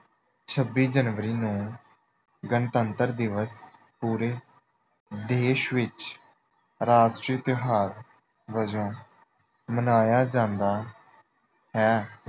ਛੱਬੀ ਜਨਵਰੀ ਨੂੰ ਗਣਤੰਤਰ ਦਿਵਸ ਪੂਰੇ ਦੇਸ਼ ਵਿੱਚ ਰਾਸ਼ਟਰੀ ਤਿਉਹਾਰ ਵਜੋਂ ਮਨਾਇਆ ਜਾਂਦਾ ਹੈ।